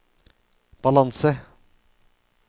balanse